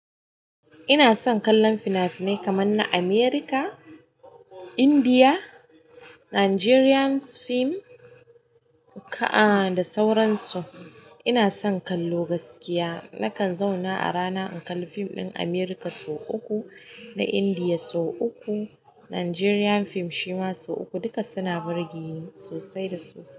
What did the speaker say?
Ina son kallon fina-finai kamar na America, India, Nigerians film ka ah da sauransu. Ina son kallo gaskiya. Nakan zauna a rana in kalli fim ɗin America sau uku, na India sau uku, Nigerian film shima sau uku. Duka suna burge ni sosai da sosai.